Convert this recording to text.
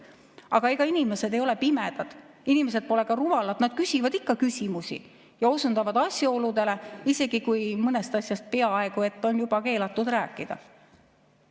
Aga ega inimesed ei ole pimedad, inimesed pole ka rumalad, nad küsivad ikka küsimusi ja osundavad asjaoludele, isegi kui mõnest asjast on juba peaaegu et keelatud rääkida.